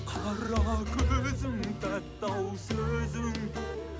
қара көзің тәтті ау сөзің